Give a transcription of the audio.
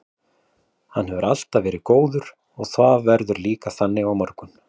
Hann hefur alltaf verið góður og það verður líka þannig á morgun.